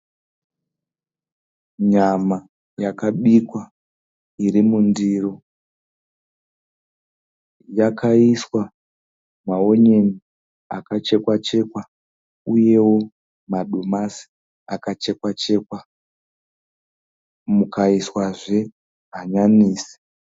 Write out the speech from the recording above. Nyama yakabikwa iri mundiro yakaiswa maonyeni akachekwa chekwa uyewo madomasi akachekwa chekwa mukaiswazve hanyanisi.